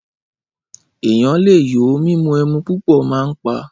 Ẹyán lẹ yo Mímù ẹmú púpọ mà ń pà